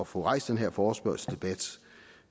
få rejst den her forespørgselsdebat